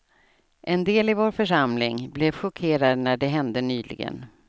En del i vår församling blev chockerade när det hände nyligen.